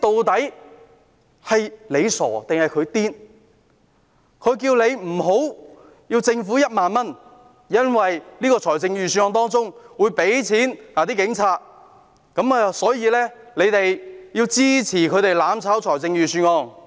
他們叫大家不要接受政府的1萬元，因為預算案會撥款給警察，所以大家要支持他們"攬炒"預算案。